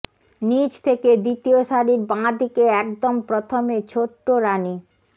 নীচ থেকে দ্বিতীয় সারির বাঁ দিকে একদম প্রথমে ছোট্ট রানি